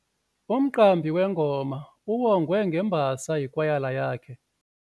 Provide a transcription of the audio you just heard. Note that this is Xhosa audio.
Umqambi wengoma uwongwe ngembasa yikwayala yakhe.